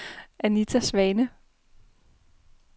Anita Svane